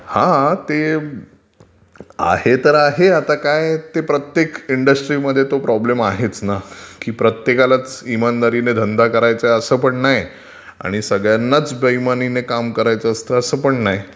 हा ते आहे तर आहे आता काय ते प्रत्येक इंडस्ट्रीमध्ये तो प्रॉब्लेम आहेच ना, की प्रत्येकालाच इमानदारीने धंदा करायचाय असं पण नाही आणि सगळ्यांनाच बेइमानिने काम करायचाय असंत असं पण नाही